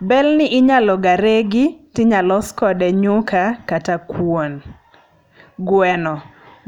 Bel ni inyalo ga regi, tinyalos kode nyuka kata kuon. Gweno.